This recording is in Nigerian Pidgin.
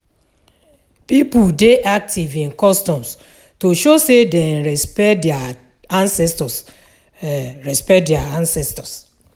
Pipo dey active in customs to show say dem respekt dia ancestors um respekt dia ancestors